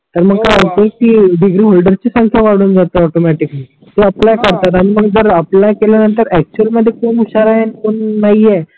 तर मग काय होते हो की डिग्री ओल्डरची संख्या वाडून जातो ऑटोमॅटिकली किवा अप्लाय करतात आणि मग जर अप्लाय केल्या नंतर एक्चुअल मध्ये कोण हुशार आहे कोण नाही आहे